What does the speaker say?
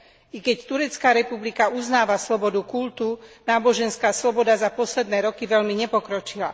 I keď Turecká republika uznáva slobodu kultu, náboženská sloboda za posledné roky veľmi nepokročila.